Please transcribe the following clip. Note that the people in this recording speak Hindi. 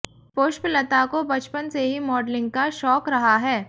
पुष्पलता को बचपन से ही मॉडलिंग का शौंक रहा है